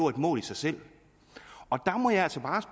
et mål i sig selv der må jeg altså